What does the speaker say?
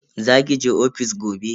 Za ki je ofis gobe?